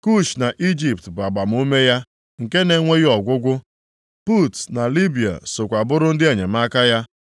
Kush + 3:9 Ya bụ, Itiopia na Ijipt bụ agbamume ya nke na-enweghị ọgwụgwụ, Put na Libịa sokwa bụrụ ndị enyemaka ya.